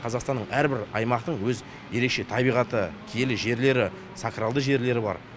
қазақстанның әрбір аймақтың өз ерекше табиғатты киелі жерлері сакралды жерлері бар